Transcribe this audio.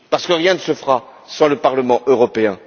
Parce que rien ne se fera sans le Parlement européen.